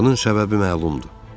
Bunun səbəbi məlumdur.